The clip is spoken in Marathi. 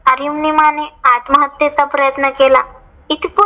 अरुनिमाने आत्महत्तेचा प्रयत्न केला. इथप